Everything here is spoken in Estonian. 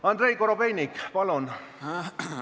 Andrei Korobeinik, palun!